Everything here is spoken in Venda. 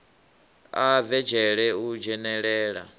a bve dzhele u dzhenelela